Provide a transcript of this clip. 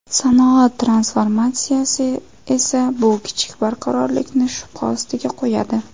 Sanoat transformatsiyasi esa bu kichik barqarorlikni shubha ostiga qo‘yadi.